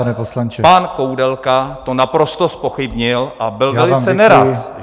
Ale pan Koudelka to naprosto zpochybnil a byl velice nerad...